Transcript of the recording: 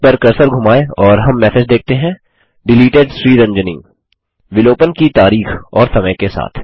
इस पर कर्सर धुमाएँ और हम मैसेज देखते हैं डिलीटेड Sriranjani विलोपन की तारीख और समय के साथ